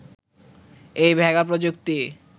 এই ভেগা প্রযুক্তি